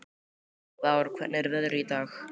Vár, hvernig er veðrið í dag?